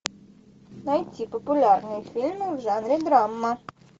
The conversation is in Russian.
найти популярные фильмы в жанре драма